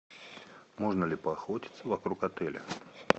можно ли поохотиться вокруг отеля